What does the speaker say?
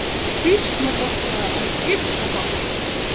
Býsna gott, sagði hann, býsna gott.